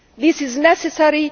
This is necessary.